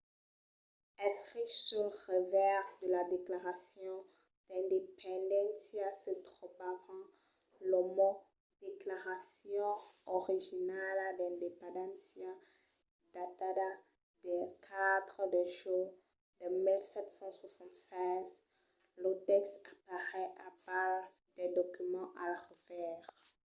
escrich sul revèrs de la declaracion d’independéncia se trobavan los mots declaracion originala d’ independéncia datada del 4 de julh de 1776". lo tèxt apareis al bas del document al revèrs